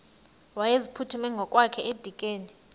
wayeziphuthume ngokwakhe edikeni